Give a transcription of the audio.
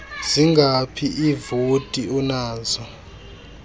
zingaphi iivoti onazo